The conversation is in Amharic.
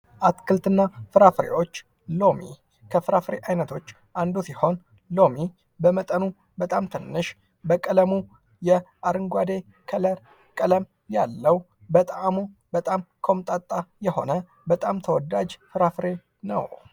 አትክልት እና ፍራፍሬዎች:-ሎሚ ከፍራፍሬ አይነቶች አንዱ ሲሆን ሎሚ በጣም ትንሽ በቀለሙ የአረንጓዴ ከለር ቀለም ያለው በጣዕሙ በጣም ኮምጣጣ የሆነ በጣም ተወዳጅ ፍራፍሬ ነው።